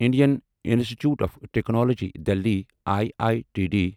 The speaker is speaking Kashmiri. Indian institute of technology Delhi I I T D